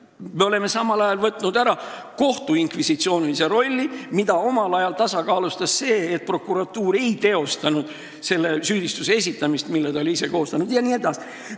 Me oleme samal ajal ära kaotanud kohtu inkvisitsioonilise rolli, mida omal ajal tasakaalustas see, et prokuratuur ei teostanud selle süüdistuse esitamist, mille ta oli ise koostanud, jne.